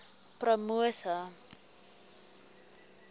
promosa